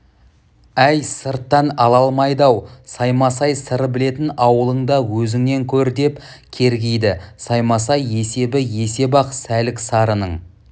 әй сырттан ала алмайды-ау саймасай сыр білетін ауылыңда өзіңнен көр деп кергиді саймасай есебі есеп-ақ сәлік-сарының